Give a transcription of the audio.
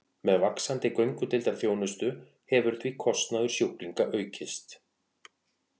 Með vaxandi göngudeildarþjónustu hefur því kostnaður sjúklinga aukist.